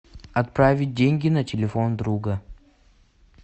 отправить деньги на телефон друга